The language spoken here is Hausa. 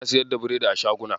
Ana siyar da biredi a shaguna.